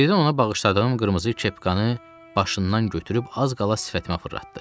Birdən ona bağışladığım qırmızı kepkanı başından götürüb az qala sifətimə fırlatdı.